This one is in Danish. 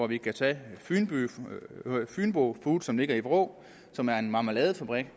vi kan tage fynbo foods som ligger i vrå og som er en marmeladefabrik